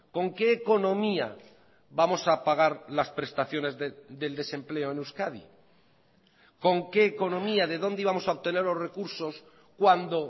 con qué economía vamos a pagar las prestaciones del desempleo en euskadi con qué economía de dónde íbamos a obtener los recursos cuando